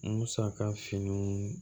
Musaka fini